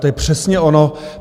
To je přesně ono.